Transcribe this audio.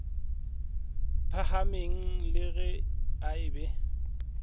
phahameng le ge a be